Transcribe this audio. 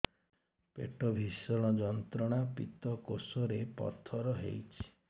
ପେଟ ଭୀଷଣ ଯନ୍ତ୍ରଣା ପିତକୋଷ ରେ ପଥର ହେଇଚି